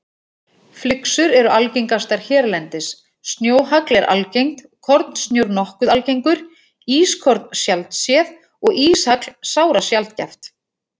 Flyksur eru algengastar hérlendis, snjóhagl er algengt, kornsnjór nokkuð algengur, ískorn sjaldséð og íshagl sárasjaldgæft.